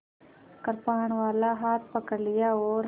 कृपाणवाला हाथ पकड़ लिया और